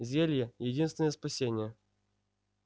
зелье единственное спасение